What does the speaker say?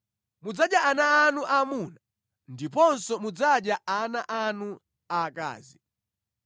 Mudzadya ana anu aamuna ndiponso mudzadya ana anu aakazi.